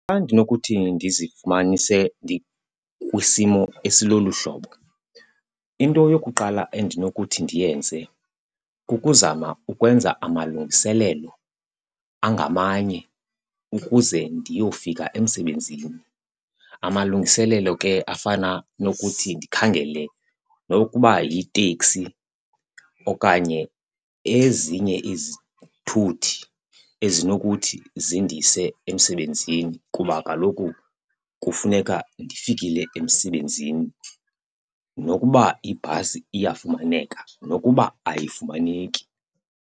Xa ndinokuthi ndizifumanise ndikwisimo esilolu hlobo into yokuqala endinokuthi ndiyenze kukuzama ukwenza amalungiselelo angamanye ukuze ndiyofika emsebenzini. Amalungiselelo ke afana nokuthi ndikhangele nokuba yiteksi okanye ezinye izithuthi ezinokuthi zindise emsebenzini kuba kaloku kufuneka ndifikile emsebenzini nokuba ibhasi iyafumaneka, nokuba ayifumaneki.